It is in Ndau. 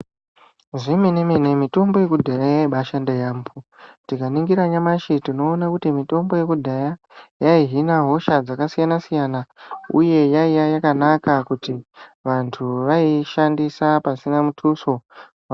Zvemene mene mitombo yekudhaya yaibashanda yaambo. Tikaningira nyamashi tinoona kuti mitombo yekudhaya yaihina hosha dzakasiyana siyana uye yaiya yakanaka kuti vantu vaishandisa pasina mutuso wevadusa.